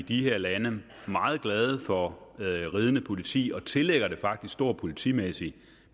i de her lande meget glade for ridende politi og tillægger det faktisk stor politimæssig